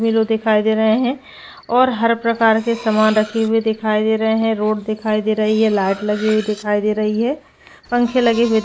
मिलो दिखाई दे रहे है और हर प्रकार के सामान रखे हुए दिखाई दे रहे है रोड दिखाई दे रही है लाइट लगी हुई दिखाई दे रही है पंखे लगे हुए--